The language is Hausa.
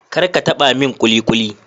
kar ka taba min kulikuli